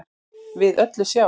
við öllu sjá